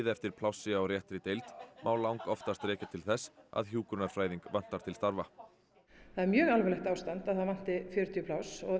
eftir plássi á réttri deild má langoftast rekja til þess að hjúkrunarfræðing vantar til starfa það er mjög alvarlegt ástand að það vanti fjörutíu pláss